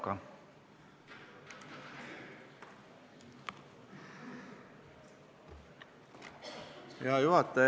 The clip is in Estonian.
Hea juhataja!